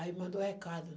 Aí mandou recado,